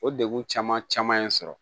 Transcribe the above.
O degun caman caman ye n sɔrɔ